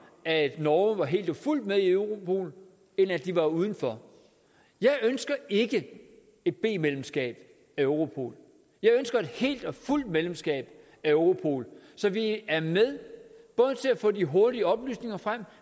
at norge var helt og fuldt med i europol end at de var uden for jeg ønsker ikke et b medlemskab af europol jeg ønsker et helt og fuldt medlemskab af europol så vi er med både til at få de hurtige oplysninger frem